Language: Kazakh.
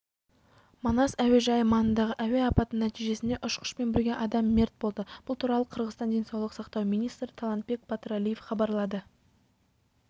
манас әуежайы маңындағы әуе апаты нәтижесінде ұшқышпен бірге адам мерт болды бұл туралы қырғызстан денсаулық сақтау министрі талантбек батыралиев хабарлады